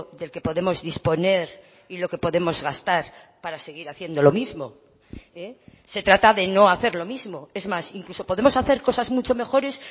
del que podemos disponer y lo que podemos gastar para seguir haciendo lo mismo se trata de no hacer lo mismo es más incluso podemos hacer cosas mucho mejores